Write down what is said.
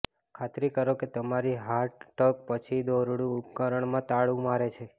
ખાતરી કરો કે તમારી હાર્ડ ટગ પછી દોરડું ઉપકરણમાં તાળું મારે છે